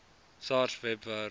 sars webwerf